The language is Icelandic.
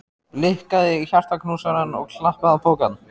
Blikkaði hjartaknúsarann og klappaði á pokann.